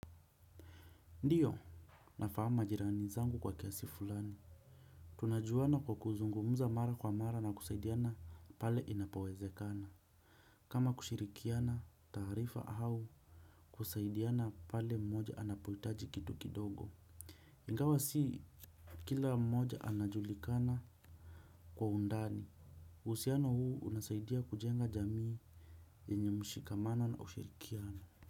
Ndiyo nafahamu majirani zangu kwa kiasi fulani tunajuana kwa kuzungumza mara kwa mara na kusaidiana pale inapowezekana kama kushirikiana taarifa au kusaidiana pale mmoja anapohitaji kitu kidogo ingawa si kila mmoja anajulikana kwa undani uhusiano huu unasaidia kujenga jamii yenye mshikamano na ushirikiano.